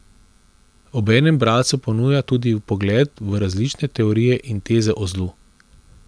Obenem bralcu ponuja tudi vpogled v različne teorije in teze o zlu.